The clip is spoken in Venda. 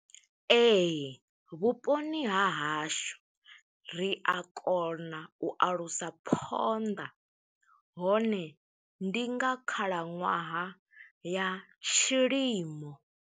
Ee, vhuponi ha hashu ri a kona u alusa phonḓa, hone ndi nga khalaṅwaha ya tshilimo.